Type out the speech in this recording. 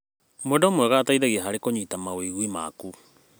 Mwendwa mwega ateithagia harĩ kũnyita mawĩgwi maku.